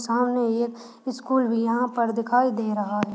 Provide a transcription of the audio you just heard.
सामने एक स्कुल भी यहाँ पर दिखाई दे रहा है।